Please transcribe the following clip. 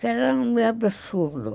Que era um absurdo.